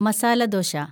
masala dosa